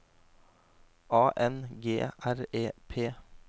A N G R E P